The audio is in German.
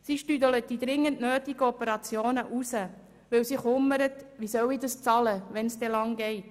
Sie zögert die dringend nötigen Operationen hinaus, denn sie sorgt sich, wie sie dafür aufkommen soll, wenn es lange dauert.